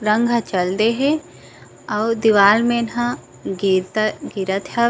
रंग ह चल दे हे आऊ दीवाल मन ह गिरता गिरत हावे--